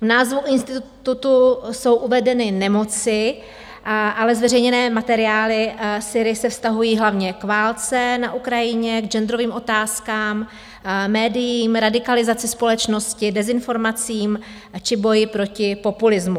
V názvu institutu jsou uvedeny nemoci, ale zveřejněné materiály SYRI se vztahují hlavně k válce na Ukrajině, k genderovým otázkám, médiím, radikalizaci společnosti, dezinformacím, či boji proti populismu.